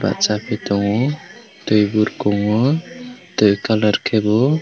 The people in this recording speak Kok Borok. bachaiye tongo twi burkungo twi ganarkhe bo.